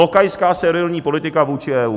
Lokajská, servilní politika vůči EU.